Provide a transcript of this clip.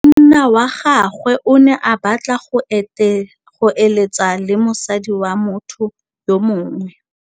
Monna wa gagwe o ne a batla go êlêtsa le mosadi wa motho yo mongwe.